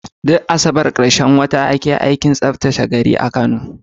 Duk Asabar ɗin ƙarshen wata ake yin aikin tsaftace gari a Kano.